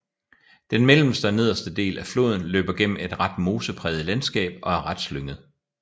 Den mellemste og nederste del af floden løber gennem et ret mosepræget landskab og er ret slynget